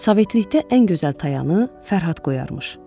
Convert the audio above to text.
Sovetlikdə ən gözəl tayanı Fərhad qoyarmış.